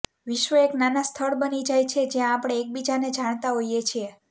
વિશ્વ એક નાના સ્થળ બની જાય છે જ્યાં આપણે એકબીજાને જાણતા હોઈએ છીએ